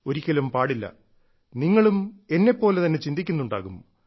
ഒരിക്കലും പാടില്ല നിങ്ങളും എന്നെപ്പോലെ തന്നെ ചിന്തിക്കുന്നുണ്ടാകും